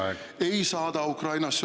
Teie aeg!